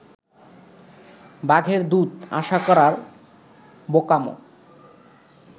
বাঘের দুধ আশা করার বোকামো